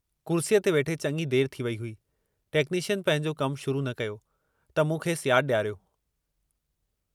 कुर्सीअ ते वेठे चङी देर थी वेई हुई, टेक्नीशियन पंहिंजो कमु शुरू न कयो, त मूं खेसि याद ॾियारियो।